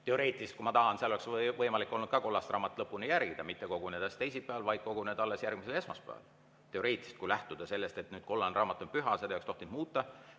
Teoreetiliselt, kui ma tahan, oleks võimalik olnud ka kollast raamatut lõpuni järgida, mitte kogunedes teisipäeval, vaid koguneda alles järgmisel esmaspäeval, teoreetiliselt, kui lähtuda sellest, et nüüd kollane raamat on püha ja seda ei oleks tohtinud muuta.